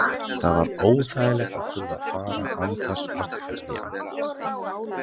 Það var óþægilegt að þurfa að fara án þess að kveðja hann.